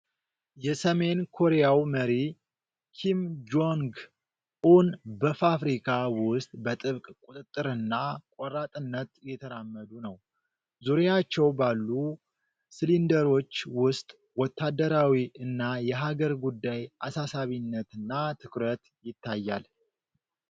የሰሜን ኮሪያው መሪ ኪም ጆንግ ኡን በፋብሪካ ውስጥ በጥብቅ ቁጥጥርና ቆራጥነት እየተራመዱ ነው። ዙሪያቸው ባሉ ሲሊንደሮች ውስጥ ወታደራዊ እና የሀገር ጉዳይ አሳሳቢነትና ትኩረት ይታያል።